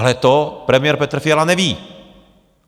Ale to premiér Petr Fiala neví.